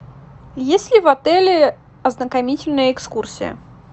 есть ли в отеле ознакомительная экскурсия